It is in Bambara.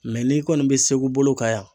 n'i kɔni bɛ segu bolo kan yan.